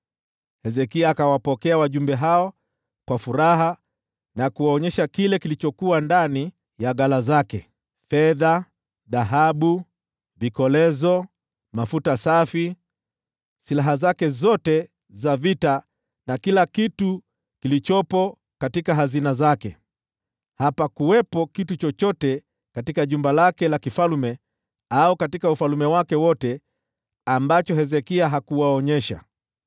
Hezekia akawapokea wale wajumbe kwa furaha na kuwaonyesha vitu vile vilivyokuwa katika ghala zake: yaani fedha, dhahabu, vikolezo na mafuta safi, ghala la silaha lote, na kila kitu kilichokuwa katika hazina zake. Hapakuwa na kitu chochote katika jumba lake la kifalme au katika ufalme wake wote ambacho Hezekia hakuwaonyesha.